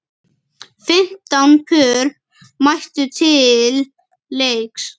Fimmtán pör mættu til leiks.